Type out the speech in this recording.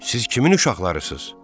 Siz kimin uşaqlarısız?